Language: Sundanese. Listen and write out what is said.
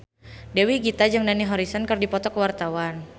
Dewi Gita jeung Dani Harrison keur dipoto ku wartawan